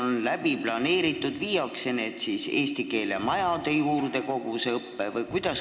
Kuidas olete planeerinud, kas kogu see õpe viiakse eesti keele majade juurde?